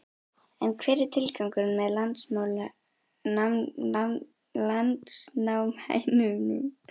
En hver er tilgangurinn með landnámshænunum?